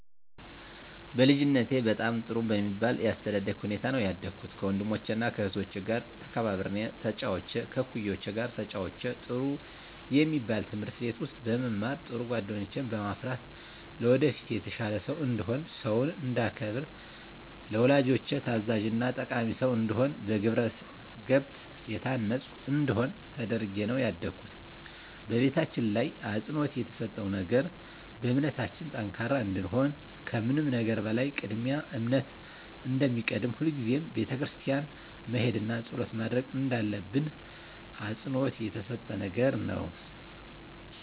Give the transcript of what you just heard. በልጅነቴ በጣም ጥሩ በሚባል የአስተዳደግ ሁኔታ ነው ያደኩት ከወንድሞቸና ከእህቶቸ ጋር ተከባብሬና ተጫውቼ ከእኩዮቼ ጋር ተጫውቼ ጥሩ የሚባል ትምህርት ቤት ውስጥ በመማር ጥሩ ጓደኞችን በማፍራት ለወደፊት የተሻለ ሰው እንድሆን ሰውን እንዳከብር ለወላጆቼ ታዛዥና ጠቃሚ ሰው እንድሆን በግብረገብ የታነፅኩ እንድሆን ተደርጌ ነው ያደኩት በቤታችን ላይ አፅንዖት የተሰጠው ነገር በእምነታችን ጠንካራ እንድንሆን ከምንም ነገር በላይ ቅድሚያ እምነት እንደሚቀድም ሁልጊዜም ቤተክርስቲያን መሄድና ፀሎት ማድረግ እንዳለብን አፅንዖት የተሰጠን ነገር ነው።